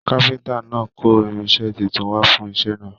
Káfíntà náà kò irinṣẹ títún wà fún iṣẹ náà.